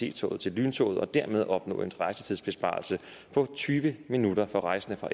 ic toget til lyntoget og dermed opnå en rejsetidsbesparelse på tyve minutter for rejsende fra